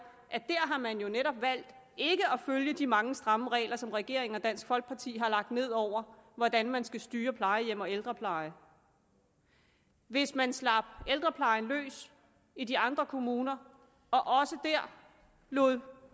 har man jo netop valgt ikke at følge de mange stramme regler som regeringen og dansk folkeparti har lagt ned over hvordan man skal styre plejehjem og ældrepleje hvis man slap ældreplejen løs i de andre kommuner og også der lod